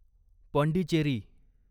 Pondicherry